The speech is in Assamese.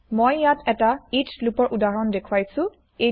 মই ইয়াত এটা ইচ্চ লুপৰ উদাহৰণ দেখুৱাইছো